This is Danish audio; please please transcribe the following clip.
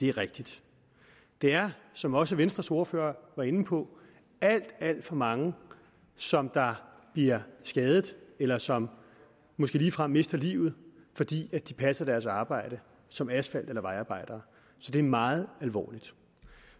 er rigtigt der er som også venstres ordfører var inde på alt alt for mange som bliver skadet eller som måske ligefrem mister livet fordi de passer deres arbejde som asfalt eller vejarbejdere så det er meget alvorligt